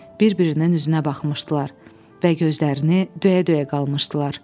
Bir-birinin üzünə baxmışdılar və gözlərini döyə-döyə qalmışdılar.